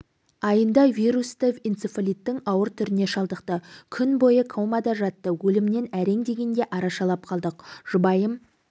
айында вирусты энцефалиттің ауыр түріне шалдықты күн бойы комада жатты өлімнен әрең дегенде арашалап қалдық жұбайым